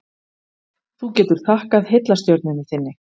Þú getur þakkað heillastjörnunni þinni.